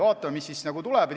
Vaatame, mis tuleb.